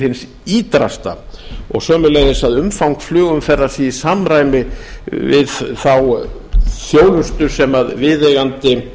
hins ýtrasta og sömuleiðis að umfang flugumferðar sé í samræmi við þá þjónustu sem viðeigandi